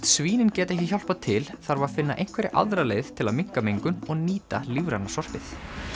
svínin geta ekki hjálpað til þarf að finna einhverja aðra leið til að minnka mengun og nýta lífræna sorpið